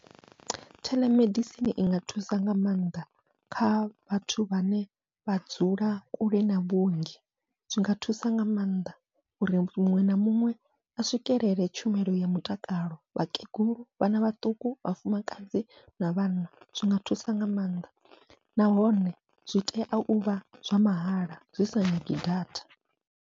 Theḽemedisini inga thusa nga maanḓa kha vhathu vhane vha dzula kule na vhuongi, zwinga thusa nga maanḓa uri muṅwe na muṅwe a swikelele tshumelo ya mutakalo vhakegulu, vhana vhaṱuku, vhafumakadzi na vhanna zwinga thusa nga maanḓa, nahone zwi tea uvha zwa mahala zwi sa nyagi data.